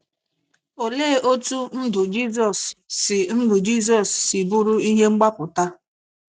Olee otú ndụ Jizọs si ndụ Jizọs si bụrụ ihe mgbapụta?